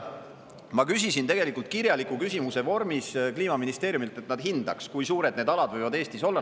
Ma tegelikult kirjaliku küsimuse vormis Kliimaministeeriumilt, et nad hindaks, kui suured need alad võivad Eestis olla.